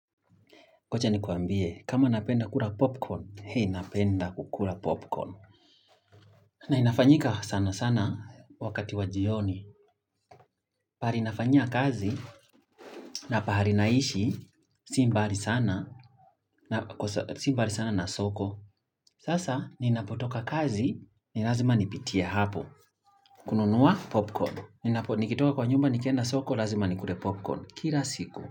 Ngoja nikuambie, kama napenda kula popcorn, hei napenda kukula popcorn. Na inafanyika sana sana wakati wa jioni. Pahali nafanyia kazi na pahali naishi si mbali sana si mbali sana na soko. Sasa, ninapotoka kazi, ni lazima nipitia hapo. Kununua popcorn. Nikitoka kwa nyumba, nikenda soko, lazima nikule popcorn. Kila siku.